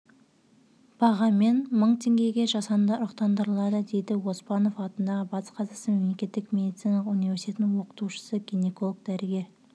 бағамен мың теңгеге жасанды ұрықтандырылады дейді оспанов атындағы батыс қазақстан мемлекеттік медициналық университетінің оқытушысы гинеколог-дәрігер